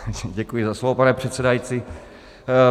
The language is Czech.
Děkuji za slovo, pane předsedající.